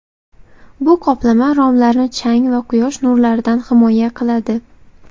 Bu qoplama romlarni chang va quyosh nurlaridan himoya qiladi.